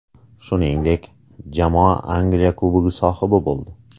Shuningdek, jamoa Angliya Kubogi sohibi bo‘ldi .